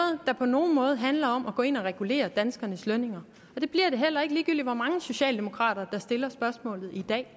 der på nogen måde handler om at gå ind og regulere danskernes lønningerne og det bliver det heller ikke ligegyldig hvor mange socialdemokrater der stiller spørgsmålet i dag